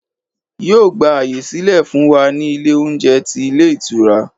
Yíò gbà àyè sílẹ̀ fún wa ní Ilé oúnjẹ ti Ilé Ìtura